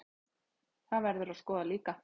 Það verður að skoða líka.